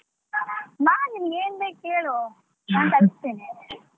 ಬಾ ನಿನಿಗ್ ಏನ್ ಬೇಕ್ ಕೇಳು ನಾ ತರಿಸ್ತೇನೆ.